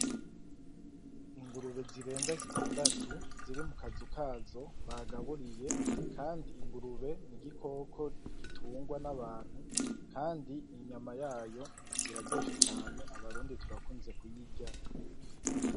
Ingurube zirenga zitandatu, ziri mukazu kazo bagaburiye. Kandi ingurube ni igikoko gitungwa n'abantu, kandi inyama yayo iraryoshe cane, abarundi turakunze kuyirya.